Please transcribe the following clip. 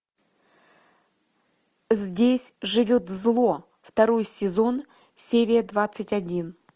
здесь живет зло второй сезон серия двадцать один